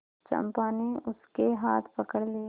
चंपा ने उसके हाथ पकड़ लिए